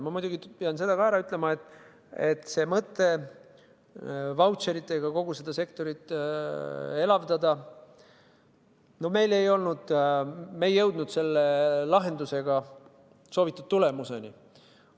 Ma muidugi pean ka seda ütlema, et mõte vautšeritega kogu seda sektorit elavdada – no me ei jõudnud selle lahendusega soovitud tulemuseni.